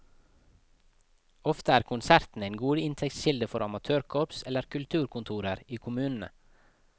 Ofte er konsertene en god inntektskilde for amatørkorps eller kulturkontorer i kommunene.